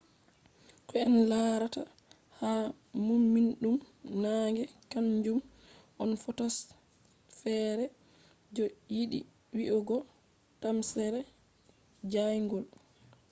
ko en larata ha mumnidum naange kanjum on photosphere je yiɗi wi'ugo tamsere jayngol